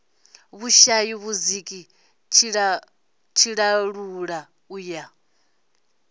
vhushaya vhudziki tshiṱalula u ya